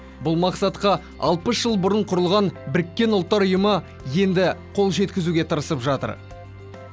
бұл мақсатқа алпыс жыл бұрын құрылған біріккен ұлттар ұйымы енді қол жеткізуге тырысып жатыр